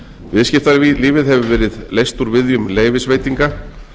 viðskiptalífið hefur verið leyst úr viðjum leyfisveitinga